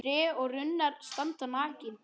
Tré og runnar standa nakin.